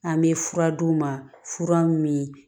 An bɛ fura d'u ma fura min